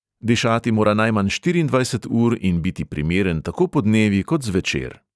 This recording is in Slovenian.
Dišati mora najmanj štiriindvajset ur in biti primeren tako podnevi kot zvečer.